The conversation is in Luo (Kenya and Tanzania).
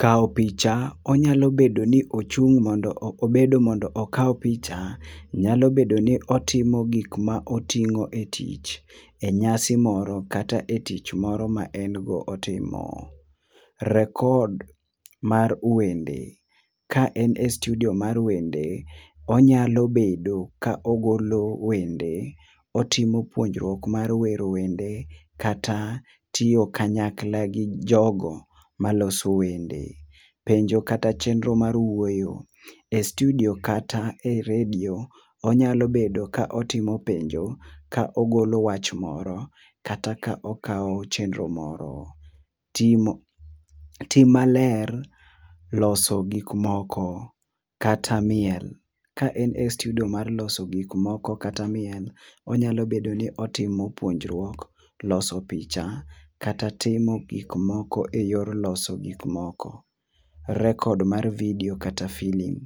Kawo picha onya bedo ni ochung mondo ok obedo mondo okaw picha nyalo bedo ni otimo gik ma otimo e tich, e nyasi moro kata e tich moro ma en go otimo. Record mar wende, ka en e studio mar wende onyalo bedo ka ogolo wende otimo puonjruok mar wero wende kata tiyo kanyakla gi jogo ma loso wende. Penjo kata chenro mar wuoyo e studio kata e radio, onyalo bedo ka otimo penjo jka ogiolonwach moro kata ka okawo chenro moro. timo tim ma ler, loso gik moko katra miel. Ka en e studio mar loso gik moko kata miel, onyalo bedo ni otimo puonjruok, loso picha kata timo gik moko e yor loso gik moko. Record mar video kata film,